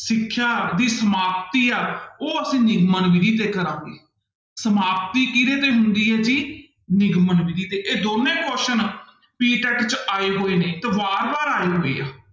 ਸਿੱਖਿਆ ਦੀ ਸਮਾਪਤੀ ਆ ਉਹ ਅਸੀਂ ਨਿਗਮਨ ਵਿੱਧੀ ਤੇ ਕਰਾਂਗੇ, ਸਮਾਪਤੀ ਕਿਹਦੇ ਤੇ ਹੁੰਦੀ ਹੈ ਜੀ ਨਿਗਮਨ ਵਿੱਧੀ ਤੇ ਇਹ ਦੋਨੇਂ question PTET ਚ ਆਏ ਹੋਏ ਨੇ, ਤੇ ਬਾਰ ਬਾਰ ਆਏ ਹੋਏ ਆ।